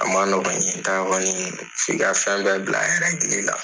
A ma nɔgɔ ye f'i ka fɛn bɛɛ bila la .